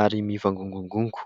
ary mivangongongongo.